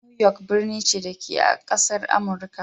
New York birni ce, da ke a ƙasar Amurika.